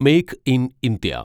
make in India